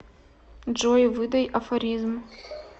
джой выдай афоризм